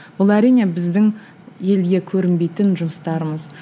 бұл әрине біздің елге көрінбейтін жұмыстарымыз